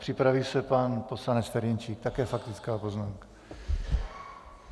Připraví se pan poslanec Ferjenčík, také faktická poznámka.